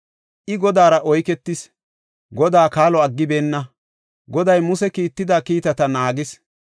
I Godaara oyketis; Godaa kaalo aggibeenna; Goday Muse kiitida kiitata naagis.